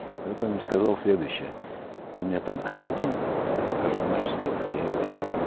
и вот он им сказал следующее он мне там каждый день каждую ночь снился я его не отдам